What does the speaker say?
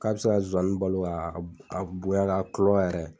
K'a bɛ se ka zɔzani balo a a bonya k'a kulɔ yɛrɛ.